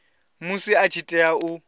musi a tshi tea u